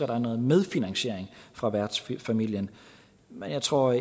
der er noget medfinansiering fra værtsfamilien men jeg tror